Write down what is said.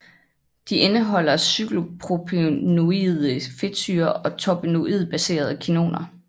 De indeholder cyklopropenoide fedtsyrer og terpenoidbaserede kinoner